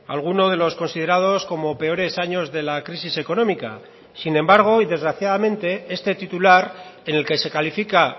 alguno de los considerados como peores años de la crisis económica sin embargo y desgraciadamente este titular en el que se califica